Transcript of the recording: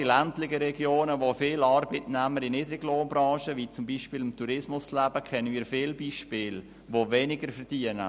Gerade in ländlichen Regionen, wo viele Arbeitnehmer in Niedriglohnbranchen wie zum Beispiel im Tourismus arbeiten, kennen wir viele Beispiele, wo Arbeitnehmer weniger verdienen.